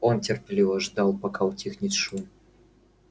он терпеливо ждал пока утихнет шум